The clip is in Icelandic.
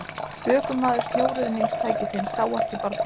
Ökumaður snjóruðningstækisins sá ekki barnið